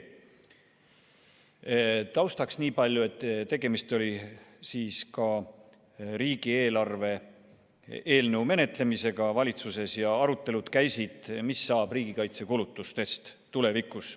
Taustaks niipalju, et tegemist oli riigieelarve eelnõu menetlemisega valitsuses ja käisid arutelud, mis saab riigikaitsekulutustest tulevikus.